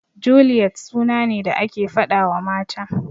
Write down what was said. Juliyet suna ne da ake faɗawa mata.